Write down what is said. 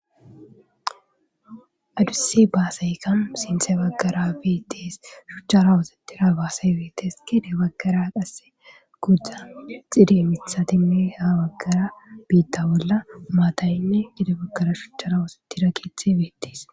Adusi baasayka sinthe baggara beettees shuchchara wosatira baasay beettees kede baggara qasse gudzdan xide mitha timi ha baggara biitta bolla maataynne gidabaggara shuchchara wosettirakithe beettees.